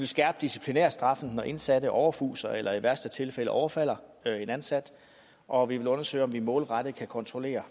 skærpe disciplinærstraffen når indsatte overfuser eller i værste fald overfalder en ansat og vi vil undersøge om man målrettet kan kontrollere